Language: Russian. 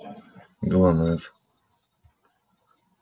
глонассс